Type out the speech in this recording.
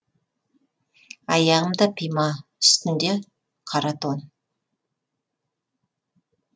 аяғында пима үстінде қара тон